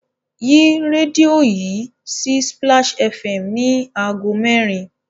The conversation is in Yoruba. Yí rẹ́díò yìí sí Splash FM ní ago merin!